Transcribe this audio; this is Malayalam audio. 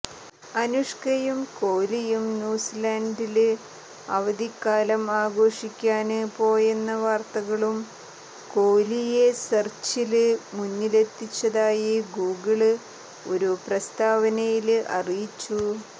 അനുഷ്കയും കോലിയും ന്യൂസിലന്ഡില് അവധിക്കാലം ആഘോഷിക്കാന് പോയെന്ന വാര്ത്തകളും കോലിയെ സെര്ച്ചില് മുന്നിലെത്തിച്ചതായി ഗൂഗിള് ഒരു പ്രസ്താവനയില് അറിയിച്ചു